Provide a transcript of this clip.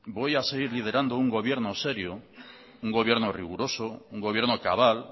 voy a seguir liderando un gobierno serio un gobierno riguroso un gobierno cabal